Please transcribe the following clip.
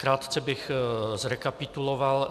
Krátce bych zrekapituloval.